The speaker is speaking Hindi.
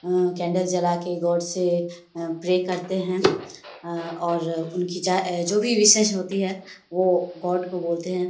अ कैंडल जला के गॉड से प्रे करते हैं और उनकी चाहे जो भी विशेस होती है वो गॉड को बोलते हैं।